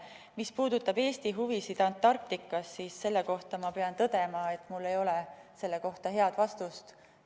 Mis puudutab Eesti huvisid Antarktikas, siis ma pean tõdema, et mul ei ole selle kohta head vastust.